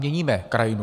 Měníme krajinu.